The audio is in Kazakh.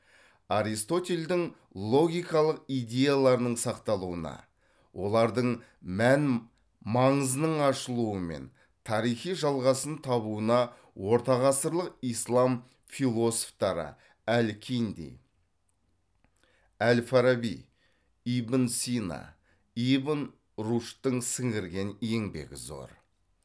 аристотельдің логикалық идеяларының сақталуына олардың мән маңызының ашылуы мен тарихи жалғасын табуына ортағасырлық ислам философтары әл кинди әл фараби ибн сина ибн рушдтың сіңірген еңбегі зор